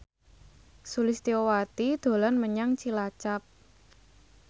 Sulistyowati dolan menyang Cilacap